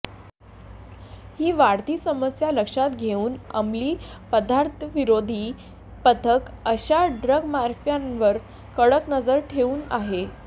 ही वाढती समस्या लक्षात घेऊन अमली पदार्थविरोधी पथक अशा ड्रगमाफियांवर कडक नजर ठेवून आहे